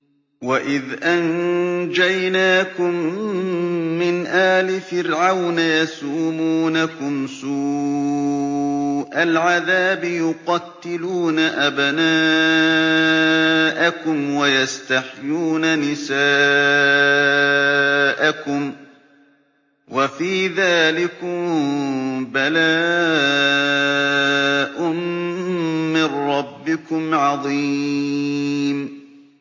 وَإِذْ أَنجَيْنَاكُم مِّنْ آلِ فِرْعَوْنَ يَسُومُونَكُمْ سُوءَ الْعَذَابِ ۖ يُقَتِّلُونَ أَبْنَاءَكُمْ وَيَسْتَحْيُونَ نِسَاءَكُمْ ۚ وَفِي ذَٰلِكُم بَلَاءٌ مِّن رَّبِّكُمْ عَظِيمٌ